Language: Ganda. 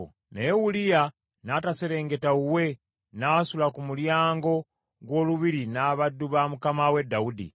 Naye Uliya n’ataserengeta wuwe, n’asula ku mulyango gw’olubiri n’abaddu ba mukama we, Dawudi.